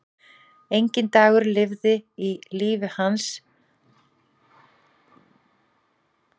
Enginn dagur liði í lífi hans án þess að hún væri í honum.